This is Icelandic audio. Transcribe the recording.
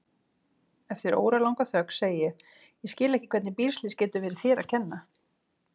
Eftir óralanga þögn segi ég: Ég skil ekki hvernig bílslys getur verið þér að kenna.